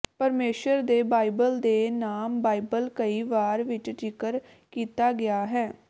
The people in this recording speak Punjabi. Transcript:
ਪਰਮੇਸ਼ੁਰ ਦੇ ਬਾਈਬਲ ਦੇ ਨਾਮ ਬਾਈਬਲ ਕਈ ਵਾਰ ਵਿਚ ਜ਼ਿਕਰ ਕੀਤਾ ਗਿਆ ਹੈ